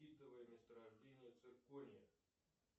месторождения циркония